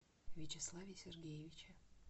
вячеславе сергеевиче